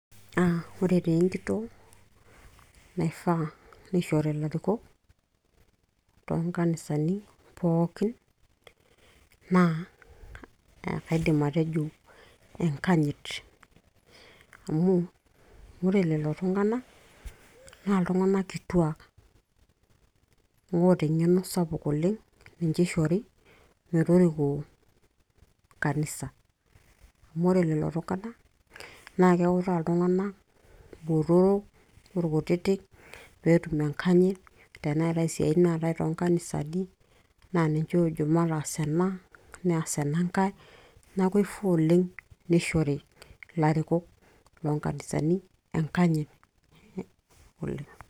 aa ore taa enkitoo naifaa nishori ilarikok toonkanisani pookin naa kaidim atejo enkanyit amu ore lelo tung'anak naa iltung'anak kituak oota eng'eno sapuk oleng ninche ishori metoriko kanisa amu ore lelo tung'anak naa keutaa iltung'ana botoro orkutitik peetum enkanyit teneetay isiatin naatay toonkanisani naa ninche oojo mataas ena neas enankae neeku eifaa oleng nishori ilarikok loonkanisani enkanyit oleng.